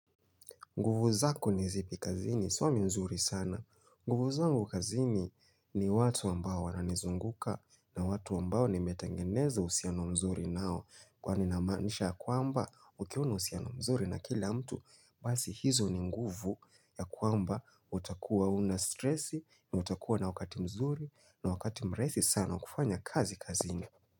Nguvu zako ni zipi kazini, suami mzuri sana. Nguvu zangu kazini ni watu ambao wananizunguka na watu ambao nimetangeneza uhusiano mzuri nao kwani namaanisha ya kwamba ukiwa uhusiano mzuri na kila mtu basi hizo ni nguvu ya kwamba utakuwa huna stresi ni utakuwa na wakati mzuri na wakati mrahisi sana kufanya kazi kazini.